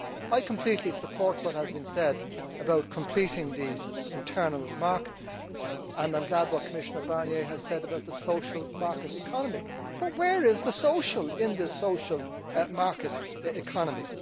I completely support what has been said about completing the internal market and I welcome what Commissioner Barnier has said about the social market economy, but where is the social' in this social market economy?